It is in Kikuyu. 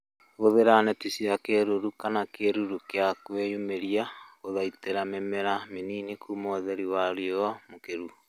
Hũthĩra neti cia kĩruru kana kĩruru gĩa kwĩyumĩria gũthaitĩra mĩmera mĩnini kuma ũtheri wa riũa mũkĩru